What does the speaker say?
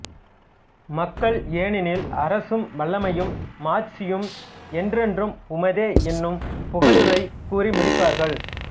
மக்கள் ஏனெனில் அரசும் வல்லமையும் மாட்சியும் என்றென்றும் உமதே என்னும் புகழுரை கூறி முடிப்பார்கள்